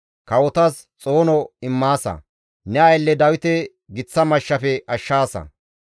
Kawotas xoono immaasa; ne aylle Dawite giththa mashshafe ashshaasa.